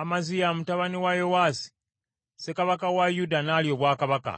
Amaziya mutabani wa Yowaasi ssekabaka wa Yuda n’alya obwakabaka.